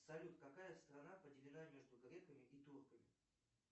салют какая страна поделена между греками и турками